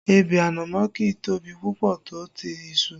Ebè ànámọ́ kì í tóbi púpọ̀ tó ti iṣu